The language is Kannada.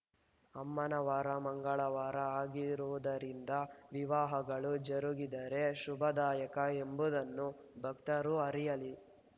ಅಮ್ಮನ ವಾರ ಮಂಗಳವಾರ ಆಗಿರುವುದರಿಂದ ವಿವಾಹಗಳು ಜರುಗಿದರೆ ಶುಭದಾಯಕ ಎಂಬುದನ್ನು ಭಕ್ತರು ಅರಿಯಲಿ